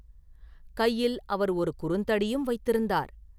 கையில் அவர் ஒரு குறுந்தடியும் வைத்திருந்தார்.